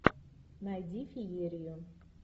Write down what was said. найди феерию